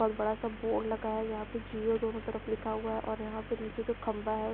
बहुत बड़ा-सा बोर्ड लगाया हुआ है जहाँ पे जिओ दोनों तरफ लिखा हुआ है और यहाँ पे नीचे कोई खंभा है।